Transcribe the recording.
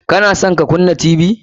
Ka na son ka kunna Tv?